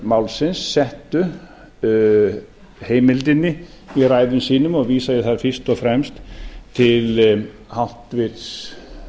málsins settu heimildinni í ræðum sínum og vísa ég þar fyrst og fremst til háttvirtur